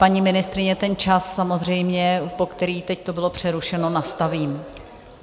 Paní ministryně, ten čas samozřejmě, po který to teď bylo přerušeno, nastavím.